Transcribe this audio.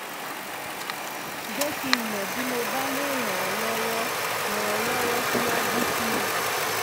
jẹ́ kí n mọ̀ bí mo bá lè ràn ọ́ lọ́wọ́ ràn ọ́ lọ́wọ́ síwájú sí i